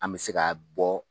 An bɛ se ka bɔ